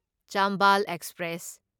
Chambal express